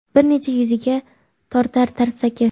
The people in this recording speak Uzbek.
bir necha yuziga tortar tarsaki.